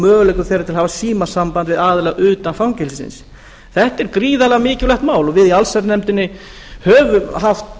möguleikum þeirra til að hafa símasamband við aðila utan fangelsisins þetta er gríðarlega mikilvægt mál og við í allsherjarnefndinni höfum haft